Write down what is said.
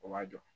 O b'a jɔ